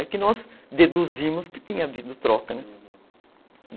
Aí que nós deduzimos que tinha havido troca, né, uhum.